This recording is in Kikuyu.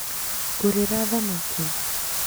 Ngũrĩra thamaki